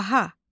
Əjdaha.